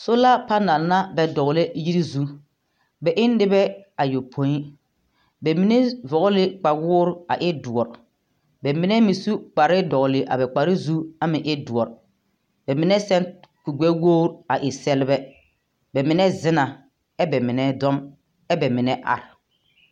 Sola panԑl na ka dogelͻ yiri poͻ. Bԑ e nobԑԑ ayopoi. Bԑ mine vͻgele ne kpawoo a e dõͻre, ba mine meŋ su kpare dogele a ba kpare zu a e dõͻre. Ba mine seԑ kuri-gbԑwogiri a e sԑlebԑ, ba mine zenaa ԑ ba mine dͻͻŋ ԑ bԑ mine are.